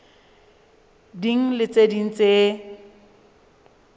ding le tse ding tse